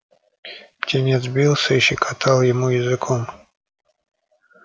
птенец бился и щекотал ему языком